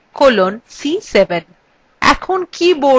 এখন কীবোর্ডএর enter key টিপুন